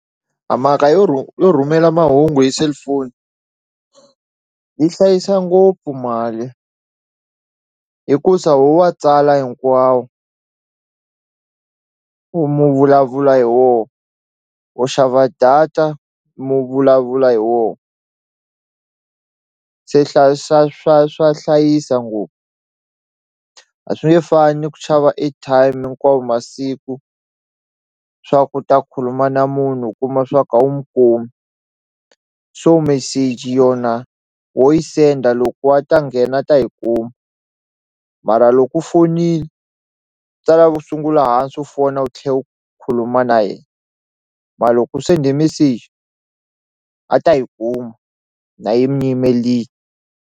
A mhaka yo yo rhumela mahungu hi cellphone yi hlayisa ngopfu mali hikusa ho wa tsala hinkwawo u mu vulavula hi wo u xava data mu vulavula hi wo se hlayisa swa swa hlayisa ngopfu a swi nge fani ku xava airtime hinkwawo masiku swa ku u ta khuluma na munhu u kuma swa ku a wu mu kumi so meseji yona ho yi senda loko wa ta nghena ta yi ku mara loko u fonini swi ta lava u sungula hansi u fona u tlhe u khuluma na ye mara loko sende meseji a ta yi kuma na yi mi yimelini.